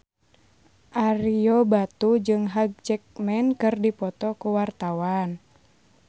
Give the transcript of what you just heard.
Ario Batu jeung Hugh Jackman keur dipoto ku wartawan